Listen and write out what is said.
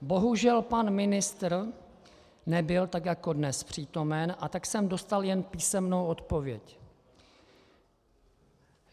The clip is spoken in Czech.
Bohužel pan ministr nebyl tak jako dnes přítomen, a tak jsem dostal jen písemnou odpověď.